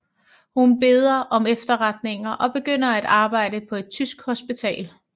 Hun beder om efterretninger og begynder at arbejde på et tysk hospital